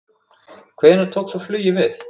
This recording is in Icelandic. Hvenær tók svo flugið við?